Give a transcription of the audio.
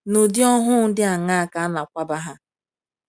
N’ụdị ohu dị aṅaa ka a na - akwaba ha?